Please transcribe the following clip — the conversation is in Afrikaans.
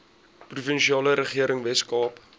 provinsiale regering weskaap